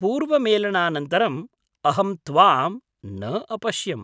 पूर्वमेलनानन्तरम् अहं त्वां न अपश्यम्।